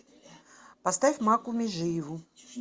поставь макку межиеву